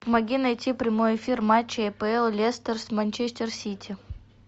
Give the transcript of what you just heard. помоги найти прямой эфир матча апл лестер с манчестер сити